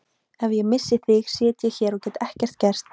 Ef ég missi þig sit ég hér og get ekkert gert.